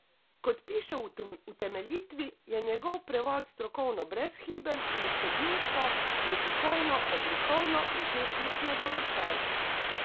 Kot piše v utemeljitvi, je njegov prevod strokovno brezhiben in vsebinsko, jezikovno, oblikovno in tehnično dovršen.